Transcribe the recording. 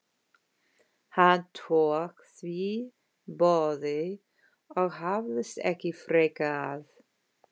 Hann tók því boði og hafðist ekki frekar að.